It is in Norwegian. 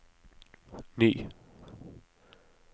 ny